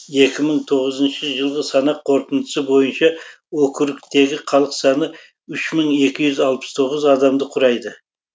екі мың тоғызыншы жылғы санақ қорытындысы бойынша округтегі халық саны үш мың екі жүз алпыс тоғыз адамды құрайды